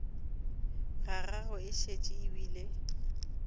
gagwe e šetše e bile